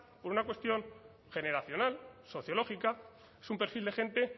por una cuestión generacional sociológica es un perfil de gente